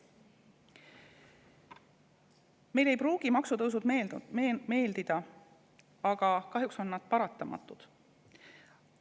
Meile ei pruugi maksutõusud meeldida, aga kahjuks on nad paratamatud.